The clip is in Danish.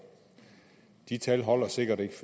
de tal holder sikkert ikke